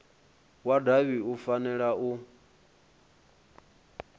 wa davhi u fanela u